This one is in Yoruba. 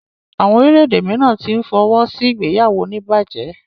Àwọn orílè-èdè míràn tí n fọwọsi ìgbéyàwó onibaje.